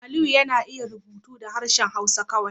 Aliyu yana iya rubutu da harshen Hausa kawai